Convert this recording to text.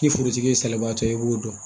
K'i forotigi ye salibaatɔ ye i b'o dɔn